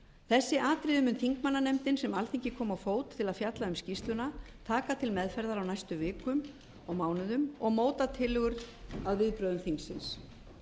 þessi atriði mun þingmannanefndin sem alþingi kom á fót til að fjalla um skýrsluna taka til meðferðar á næstu vikum og mánuðum og móta tillögur að viðbrögðum þingsins